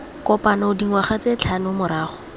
kopano dingwaga tse tlhano morago